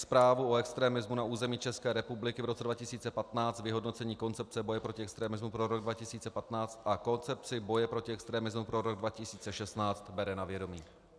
Zprávu o extremismu na území České republiky v roce 2015, Vyhodnocení Koncepce boje proti extremismu pro rok 2015 a Koncepci boje proti extremismu pro rok 2016 bere na vědomí."